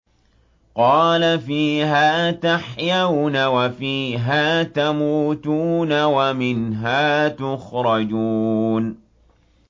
قَالَ فِيهَا تَحْيَوْنَ وَفِيهَا تَمُوتُونَ وَمِنْهَا تُخْرَجُونَ